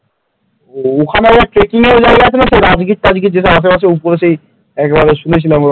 ওখানে আবার trekking যেসব আছে না? রাজগির ফাজগির আশেপাশে উপরে সেই একবার শুনেছিলাম ওরকম,